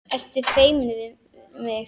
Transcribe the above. Ertu feimin við mig?